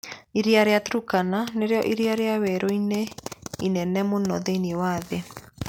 Iria rĩa Turkana nĩrĩo iria rĩa werũ inene mũno thĩinĩ wa thĩ.